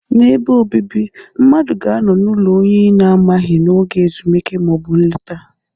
N'ebe obibi, mmadụ ga-anọ n'ụlọ onye ị na-amaghị n'oge ezumike ma ọ bụ nleta